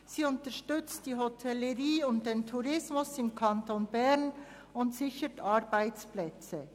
Sie unterstützt die Hotellerie und den Tourismus im Kanton Bern und sichert Arbeitsplätze.